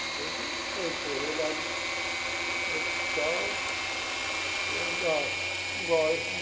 Sei que eu eu internei lá no hospital sei lá.